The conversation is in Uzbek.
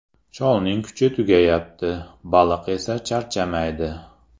Cholning kuchi tugayapti, baliq esa charchamaydi.